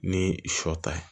Ni sɔ ta ye